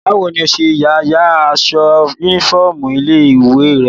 Báwo ni ọ ṣe ya ya aṣọ yúnífọ́ọ̀mù ilé-ìwé rẹ?